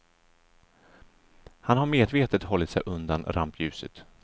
Han har medvetet hållit sig undan rampljuset.